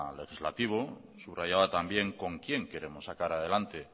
legislativo subrayaba también con quién queremos sacar adelante